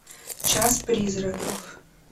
час призраков